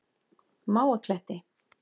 Mávakletti